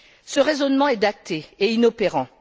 Ce raisonnement est daté et inopérant.